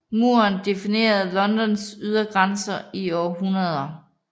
Muren definerede Londons ydergrænser i århundreder